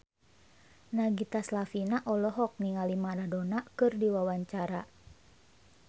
Nagita Slavina olohok ningali Maradona keur diwawancara